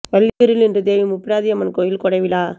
வள்ளியூரில் இன்று தேவி முப்பிடாதி அம்மன் கோயில் கொடை விழா